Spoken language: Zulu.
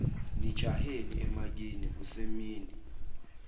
nijaheni emakini kusemini